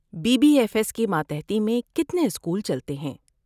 Be B F S کی ماتحتی میں کتنے اسکول چلتے ہیں؟